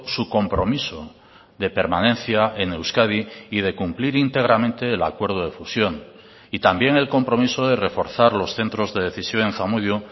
su compromiso de permanencia en euskadi y de cumplir íntegramente el acuerdo de fusión y también el compromiso de reforzar los centros de decisión en zamudio